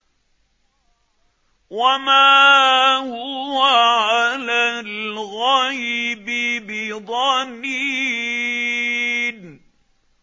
وَمَا هُوَ عَلَى الْغَيْبِ بِضَنِينٍ